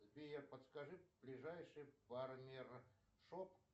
сбер покажи ближайший барбершоп